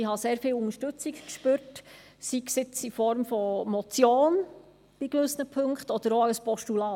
Ich habe sehr viel Unterstützung gespürt, sei es für die Motion in gewissen Punkten oder auch für das Postulat.